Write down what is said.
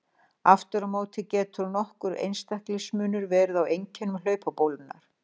Aftur á móti getur nokkur einstaklingsmunur verið á einkennum hlaupabólunnar.